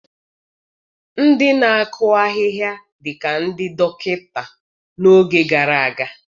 Ndị na-akụ ahịhịa dị ka ndị dọkịta n'oge gara aga.